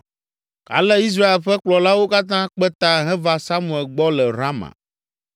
Ale Israel ƒe kplɔlawo katã kpe ta heva Samuel gbɔ le Rama